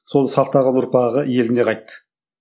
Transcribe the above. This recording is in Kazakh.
сол сақтаған ұрпағы еліне қайтты